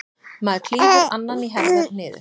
Maður klýfur annan í herðar niður.